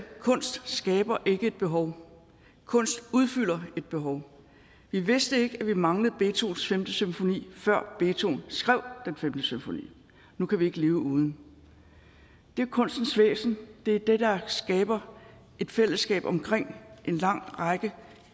kunst skaber ikke et behov kunst udfylder et behov vi vidste ikke at vi manglede beethovens femte symfoni før beethoven skrev den femte symfoni nu kan vi ikke leve uden det er kunstens væsen det er det der skaber et fællesskab omkring en lang række